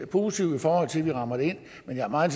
positiv i forhold til at få det rammet ind men jeg er meget